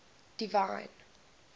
divine